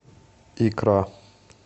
икра